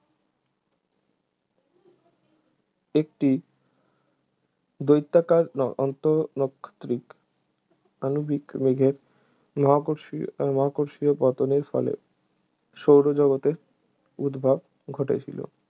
একটি দৈত্যাকার আন্তঃনাক্ষত্রিক আণবিক মেঘের মহাকর্ষী ও মহাকর্ষীয় পতনের ফলে সৌরজগতের উদ্ভব ঘটেছিল